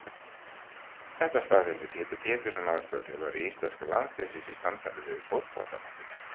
Þetta staðfesti Pétur Pétursson aðstoðarþjálfari íslenska landsliðsins í samtali við Fótbolta.net